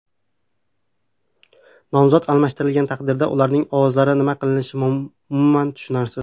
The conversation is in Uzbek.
Nomzod almashtirilgan taqdirda ularning ovozlari nima qilinishi umuman tushunarsiz.